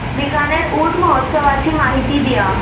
बीकानेर ऊंट महोत्सवाची माहिती द्या